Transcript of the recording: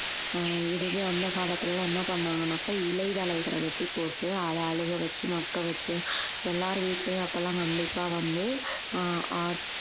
ஆஹ் இதுவே அந்த காலத்துல எல்லாம் என்ன பண்ணாங்கனாக்கா இலை தழைகளை வெட்டிப் போட்டு அதை அழுக வச்சு மக்க வெச்சு எல்லார் வீட்டிலேயும் அப்ப எல்லாம் கண்டிப்பா வந்து ஆஹ் அஹ்